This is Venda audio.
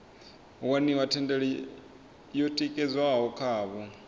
waniwa thendelo yo tikedzwaho khavho